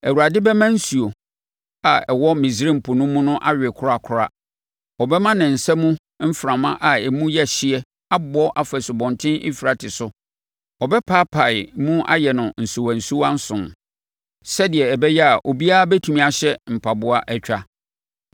Awurade bɛma nsuo a ɛwɔ Misraim Po no mu awe korakora; ɔbɛma ne nsa mu mframa a emu yɛ hyeɛ abɔ afa Asubɔnten Eufrate so. Ɔbɛpaapae mu ayɛ no nsuwansuwa nson sɛdeɛ ɛbɛyɛ a obiara bɛtumi ahyɛ mpaboa atwa.